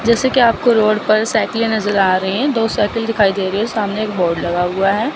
जैसे की आप को रोड पर साइकिलें नजर आ रही हैं दो साइकिल दिखाई दे रही है सामने एक बोर्ड लगा हुआ है।